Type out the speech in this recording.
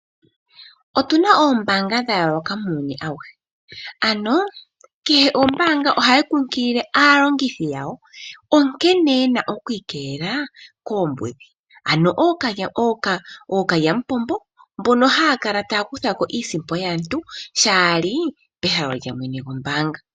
Otuna oombaanga dhayooloka muuyuni ano kehe oombaanga ohadhi kunkilile aalongithi yawo, nkene yena okwiikelela koombudhi. Ano ookalyamupombo mbono haya kala taya kuthamo iisimpo yaantu shaali pehalo lyombaanga.